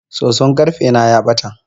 Soson karfe na ya bata.